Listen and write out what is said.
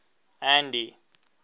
andy